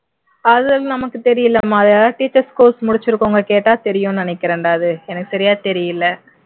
அது நமக்கு தெரியலைமா அது யாராவது teachers course முடிச்சிருக்கிறவங்க கேட்டா தெரியும்னு நினைக்கிறேன்டா அது எனக்கு சரியா தெரியலை